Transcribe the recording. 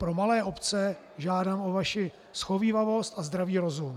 Pro malé obce žádám o vaši shovívavost a zdravý rozum.